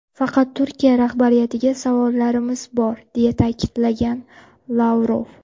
Faqat Turkiya rahbariyatiga savollarimiz bor”, deya ta’kidlagan Lavrov.